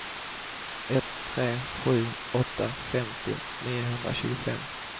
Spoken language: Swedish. ett tre sju åtta femtio niohundratjugofem